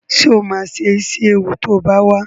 Sọ ma se Ísíéwu to bá wá?